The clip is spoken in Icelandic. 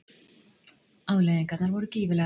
Afleiðingarnar voru gífurlegar.